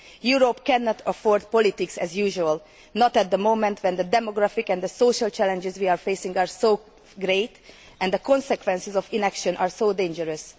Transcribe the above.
Europe cannot afford politics as usual not at the moment, when the demographic and the social challenges we are facing are so great and the consequences of inaction are so dangerous.